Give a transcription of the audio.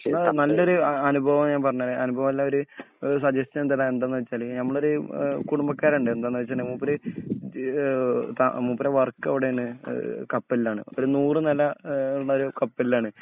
ഞാൻ നല്ലൊരു അനുഭവം ഞാൻ പറഞ്ഞുതരാം അനുഭവം അല്ല ഒരു സജഷൻ തരാം എന്താന്നുവെച്ചാല് ഞമ്മളെ ഒരുകുടുംബക്കാരുണ്ട് എന്താന്നുവെച്ചാല് മൂപ്പര് ഇത് ഏഹ് മൂപ്പരെ വർക്ക് അവിടാണ് ഏഹ് കപ്പലിലാണ്.ഒരു നൂറുനില നിലയുള്ള കപ്പലിലാണ്.